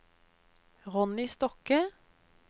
Ronny Stokke